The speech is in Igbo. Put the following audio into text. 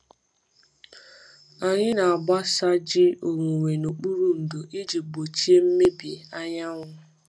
Anyị na-agbasa ji owuwe n’okpuru ndò iji gbochie mmebi anyanwụ.